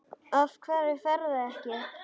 Af hverju ferðu ekki?